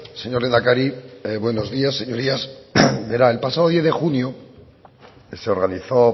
señor lehendakari buenos días señorías verá el pasado diez de junio se organizó